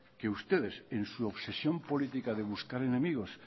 que ustedes en su obsesión política de buscar enemigos